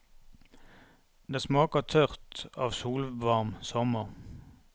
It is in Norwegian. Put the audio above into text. Det smaker tørt av solvarm sommer.